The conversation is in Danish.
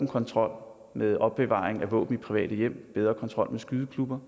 kontrol med opbevaring af våben i private hjem bedre kontrol med skydeklubber